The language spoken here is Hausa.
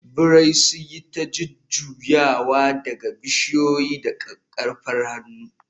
birai sun yi ta jujjuyawa daga bishiyoyi da kakkarfar hannu.